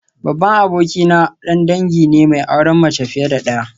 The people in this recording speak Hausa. Babban abokina dan dangi ne mai auren mace fiye da daya